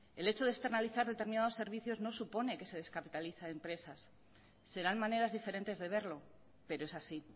el hecho de externalizar determinados servicios no supone que se descapitalicen empresas serán maneras diferentes de verlo pero es así